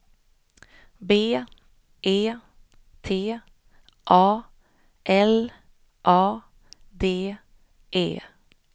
B E T A L A D E